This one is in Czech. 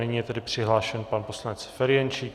Nyní je tedy přihlášen pan poslanec Ferjenčík.